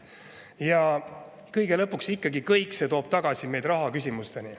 Ja kõige lõpuks toob kõik see ikkagi meid tagasi rahaküsimusteni.